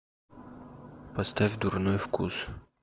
поставь дурной вкус